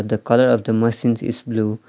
The colour of the machines is blue .